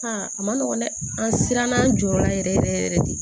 a ma nɔgɔ dɛ an siranna an jɔyɔrɔ la yɛrɛ yɛrɛ yɛrɛ de